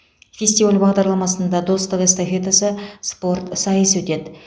фестиваль бағдарламасында достық эстафетасы спорт сайысы өтеді